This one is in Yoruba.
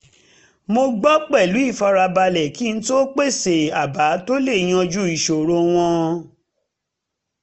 mo gbọ́ pẹ̀lú ìfarabalẹ̀ kí n tó pèsè àbá tó lè yanjú ìṣòro wọn